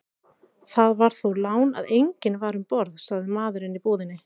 Það var þó lán að enginn var um borð, sagði maðurinn í búðinni.